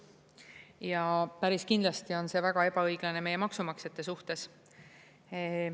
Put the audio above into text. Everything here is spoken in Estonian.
Ja päris kindlasti on see väga ebaõiglane meie maksumaksjate suhtes.